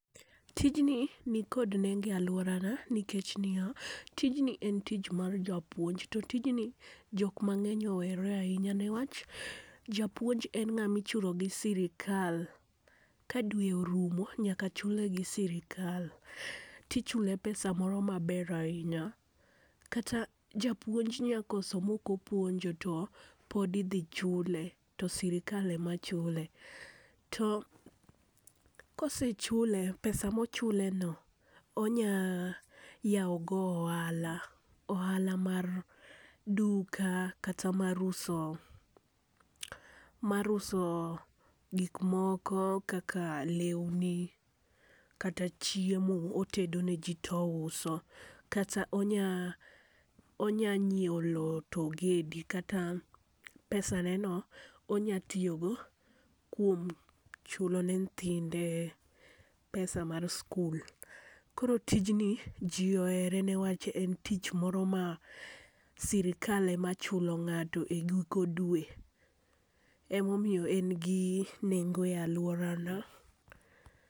Tijni ni kod nengo e aluora na nikech tijni ni ya, tijni en tich mar japuonj. To tijni ji mang'eny ohere ainya niwach japuonj en ng'at mi ichulo gi sirkal, ka dwe orumo nyaka chule gi sirkal ti ichule pesa moro ma ber ainya. Kata japuonj nyakoso ma ok opuonjo to pod idhi chule to sirkal ema chule. To kosechule, pesa ma ochule no onya yawo go ohala. Ohala mar duka, kata mar uso mar uso gik moko kaka lewni kata chiemo otedo ne ji to ouso . Kata onya nyiewo loo to ogede kata pesa ne no onya tiyo go kuom chulo ne nyithinde pesa mag skul. Koro tijni ji ohere ne wach en tich moro ma sirkal ema chulo ng'ato giko dwe. Ema omiyo en gi nengo e aluora na.